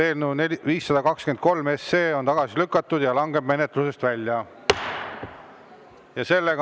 Eelnõu 523 on tagasi lükatud ja langeb menetlusest välja.